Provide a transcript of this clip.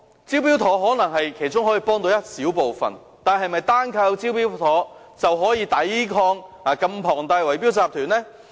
"招標妥"可能只可以幫助其中一小部分人，但單靠"招標妥"是否便可以抵抗這麼龐大的圍標集團呢？